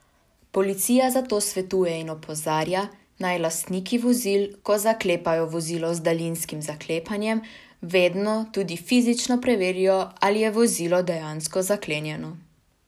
Policija zato svetuje in opozarja, naj lastniki vozil, ko zaklepajo vozilo z daljinskim zaklepanjem, vedno tudi fizično preverijo, ali je vozilo dejansko zaklenjeno.